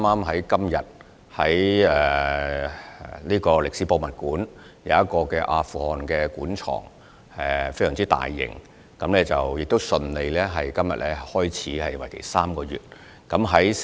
香港歷史博物館今天順利展開一個大型的阿富汗古文物專題展覽，為期3個月。